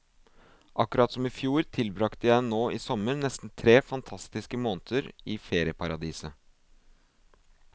Akkurat som i fjor tilbrakte jeg nå i sommer nesten tre fantastiske måneder i ferieparadiset.